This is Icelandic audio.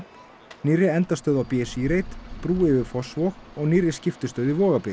nýrri endastöð á b s í reit brú yfir Fossvog og nýrri skiptistöð í